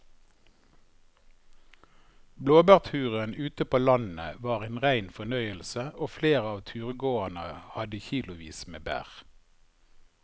Blåbærturen ute på landet var en rein fornøyelse og flere av turgåerene hadde kilosvis med bær.